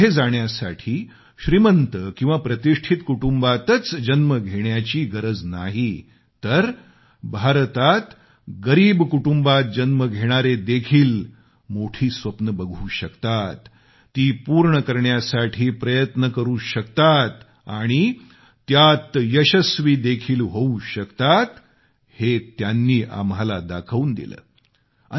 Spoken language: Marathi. जीवनात पुढे जाण्यासाठी श्रीमंत किंवा प्रतिष्ठित कुटुंबातच जन्म घेण्याची गरज नाही तर भारतात गरीब कुटुंबात जन्म घेणारे देखील मोठी स्वप्ने बघू शकतात ती पूर्ण करण्यासाठी प्रयत्न करु शकतात आणि त्यात यशस्वी देखील होऊ शकतात हे त्यांनी आम्हाला दाखवून दिले